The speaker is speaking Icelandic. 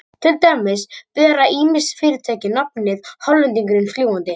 Til dæmis bera ýmis fyrirtæki nafnið Hollendingurinn fljúgandi.